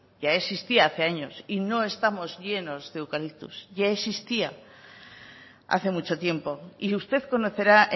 ya existía hace años y no estamos llenos de eucaliptos ya existía hace mucho tiempo y usted conocerá